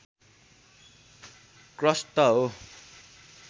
crust हो